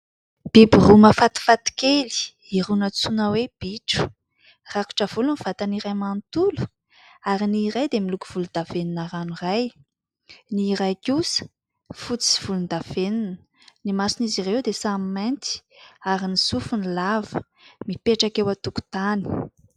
Biby roa mafatifaty kely iroa natsoina hoe " bitro " rakotra volo ny vatany iray manontolo ary ny iray dia miloko volondavenona ranoray, ny iray kosa fotsy sy volondavenona, ny mason'izy ireo dia samy mainty ary ny sofiny lava, mipetraka eo an-tokotany.